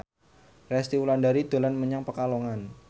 Resty Wulandari dolan menyang Pekalongan